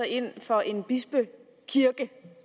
ind for en bispekirke